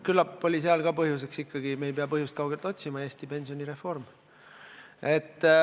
Küllap oli sealgi põhjuseks – me ei pea põhjust kaugelt otsima – ikkagi Eesti pensionireform.